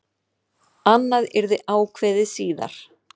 Annað yrði ákveðið síðar.